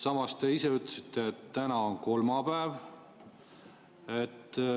Samas te ise ütlesite, et täna on kolmapäev.